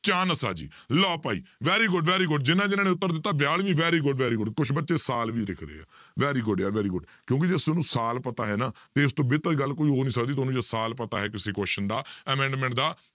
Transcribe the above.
chance ਆ ਜੀ ਲਓ ਭਾਈ very good, very good ਜਿਹਨਾਂ ਜਿਹਨਾਂ ਨੇ ਉੱਤਰ ਦਿੱਤਾ ਬਿਆਲਵੀਂ very good, very good ਕੁਛ ਬੱਚੇ ਸਾਲ ਵੀ ਲਿਖ ਰਹੇ ਆ very good ਯਾਰ very good ਕਿਉਂਕਿ ਸਾਲ ਪਤਾ ਹੈ ਨਾ ਇਸ ਤੋਂ ਬਿਹਤਰ ਗੱਲ ਕੋਈ ਹੋ ਨੀ ਸਕਦੀ ਤੁਹਾਨੂੰ ਜੇ ਸਾਲ ਪਤਾ ਹੈ ਕਿਸੇ question ਦਾ amendment ਦਾ